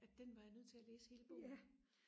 at den var jeg nødt til og læse hele bogen